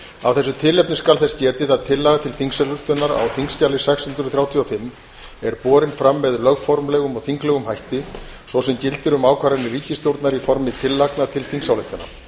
af þessu tilefni skal þess getið að tillaga til þingsályktunar á þingskjali sex hundruð þrjátíu og fimm er borin fram með lögformlegum og þinglegum hætti svo sem gildir um ákvarðanir ríkisstjórnar í formi tillagna til þingsályktana